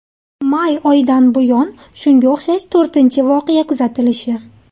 May oyidan buyon shunga o‘xshash to‘rtinchi voqea kuzatilishi.